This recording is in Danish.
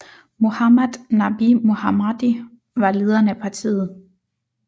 Mohammad Nabi Mohammadi var lederen af partiet